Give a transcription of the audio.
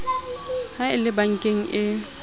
ha e le bankeng e